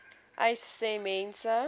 uys sê mense